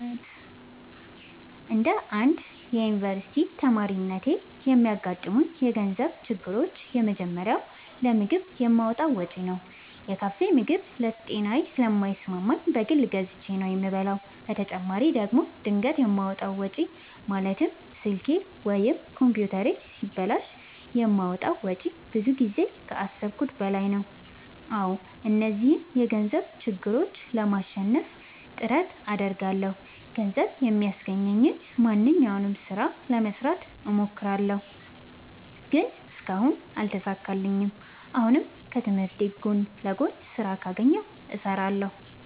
እንደ አንድ ዮኒቨርስቲ ተማሪነቴ የሚያጋጥሙኝ የገንዘብ ችግሮች የመጀመሪያው ለምግብ የማወጣው ወጪ ነው። የካፌ ምግብ ለጤናዬ ስለማይስማማኝ በግል ገዝቼ ነው የምበላው በተጨማሪ ደግሞ ድንገት የማወጣው ወጪ ማለትም ስልኬ ወይም ኮምፒውተሬ ሲበላሽ የማወጣው ወጪ ብዙ ጊዜ ከአሠብኩት በላይ ነው። አዎ እነዚህን የገንዘብ ችግሮች ለማሸነፍ ጥረት አደርጋለሁ። ገንዘብ የሚያስገኘኝን ማንኛውንም ስራ ለመስራት እሞክራለሁ። ግን እስካሁን አልተሳካልኝም። አሁንም ከትምህርቴ ጎን ለጎን ስራ ካገኘሁ እሠራለሁ።